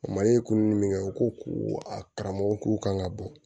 kunnu min kɛ u ko ko a karamɔgɔw k'u kan ka bɔ